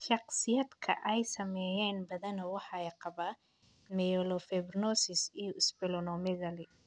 Shakhsiyaadka ay saameeyeen badanaa waxay qabaan myelofibrosis iyo splenomegaly.